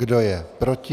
Kdo je proti?